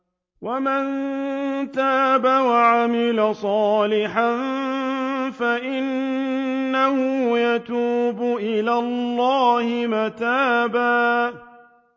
وَمَن تَابَ وَعَمِلَ صَالِحًا فَإِنَّهُ يَتُوبُ إِلَى اللَّهِ مَتَابًا